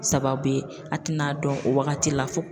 Sababu ye, a te na dɔn o wagati la fo